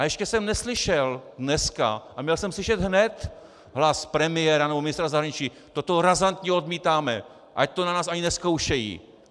A ještě jsem neslyšel dneska - a měl jsem slyšet hned - hlas premiéra nebo ministra zahraničí: toto razantně odmítáme, ať to na nás ani nezkoušejí!